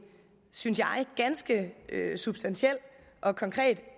synes jeg ganske substantiel og konkret